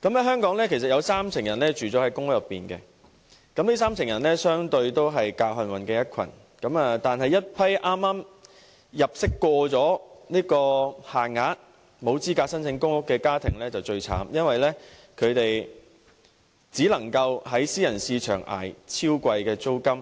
香港有三成人住在公屋，這些人相對上是較幸運的一群，但對於一群入息剛過限額，沒有資格申請公屋的家庭，他們境況最慘，只能在私人市場捱超貴租金。